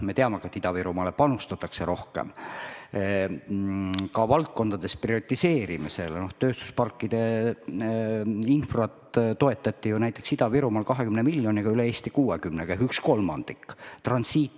Me teame ka, et Ida-Virumaale panustatakse rohkem, näiteks tööstusparkide infrastruktuuri toetati seal 20 miljoniga ehk ühe kolmandikuga, sest üle Eesti on see 60 miljonit.